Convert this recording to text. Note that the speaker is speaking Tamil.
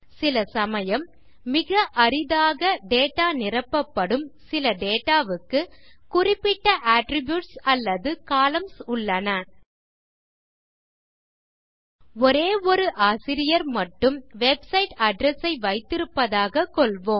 சிலசமயம் மிக அரிதாக டேட்டா நிரப்பபடும் சில டேட்டா க்கு குறிப்பிட்ட அட்ரிபியூட்ஸ் அல்லது கொலம்ன்ஸ் உள்ளன ஒரே ஒரு ஆசிரியர் மட்டும் வெப்சைட் அட்ரெஸ் ஐ வைத்திருப்பதாக கொள்வோம்